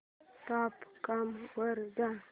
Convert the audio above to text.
dot com वर जा